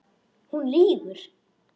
Hún lýgur.